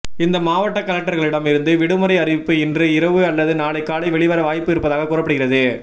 இந்த மாவட்ட கலெக்டர்களிடம் இருந்து விடுமுறை அறிவிப்பு இன்று இரவு அல்லது நாளை காலை வெளிவர வாய்ப்பு இருப்பதாக கூறப்படுகிறது